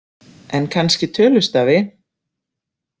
En kannski tölustafi.